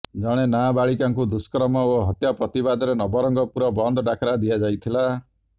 ଜଣେ ନାବାଳିକାଙ୍କୁ ଦୁଷ୍କର୍ମ ଓ ହତ୍ୟା ପ୍ରତିବାଦରେ ନବରଙ୍ଗପୁର ବନ୍ଦ ଡାକରା ଦିଆଯାଇଥିଲା